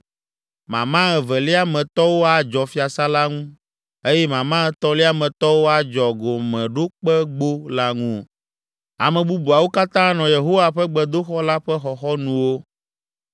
mama evelia me tɔwo adzɔ fiasã la ŋu eye mama etɔ̃lia me tɔwo adzɔ Gɔmeɖokpegbo la ŋu. Ame bubuawo katã anɔ Yehowa ƒe gbedoxɔ la ƒe xɔxɔnuwo.